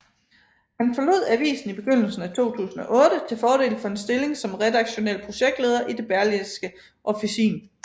Han forlod avisen i begyndelsen af 2008 til fordel for en stilling som redaktionel projektleder i Det Berlingske Officin